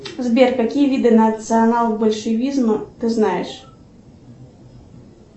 сбер какие виды национал большевизма ты знаешь